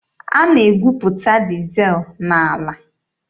A na-egwuputa dizel n'ala.